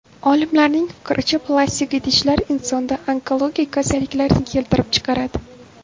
Olimlarning fikricha, plastik idishlar insonda onkologik kasalliklarni keltirib chiqaradi.